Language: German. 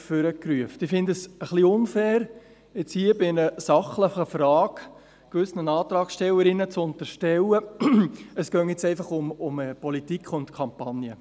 Ich finde es ein wenig unfair, nun hier bei einer sachlichen Frage gewissen Antragstellerinnen zu unterstellen, es gehe nun einfach um Politik und Kampagne.